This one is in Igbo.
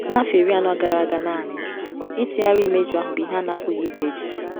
N’afọ iri anọ gara aga naanị, ịtụgharị imeju ahụ bụ ihe a na-apụghị iche echiche.